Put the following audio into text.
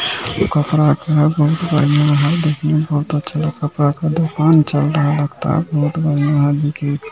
कपड़ा का बहुत बनिया है देखने में बहुत अच्छा है कपड़ा का दूकान चल बहुत बड़िया है देखिए